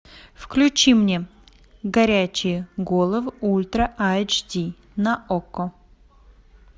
включи мне горячие головы ультра эйч ди на окко